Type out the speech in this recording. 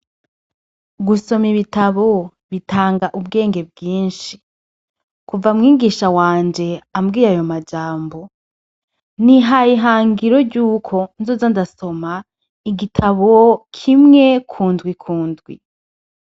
Gusoma ibitabo bitanga ubwenge bwinshi. Kuva mwigisha wanje ambwiye ayo majambo, nihaye ihangiro ry'uko nzoza ndasoma igitabo kimwe ku ndwi ku ndwi.